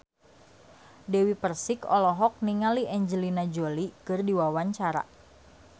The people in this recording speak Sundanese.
Dewi Persik olohok ningali Angelina Jolie keur diwawancara